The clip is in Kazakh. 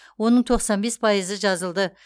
оның тоқсан бес пайызы жазылды